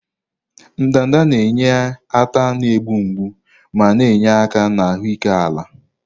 ndanda na-enye ata na-egbu mgbu ma na-enye aka na ahụike ala.